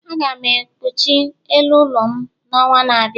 Aga m ekpuchi elu ụlọ m n'ọnwa na-abịa